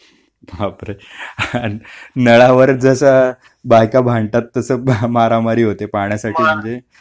बापरे नळावर जस बायका भांडतात तस मारामारी होते पाण्यासाठी म्हणजे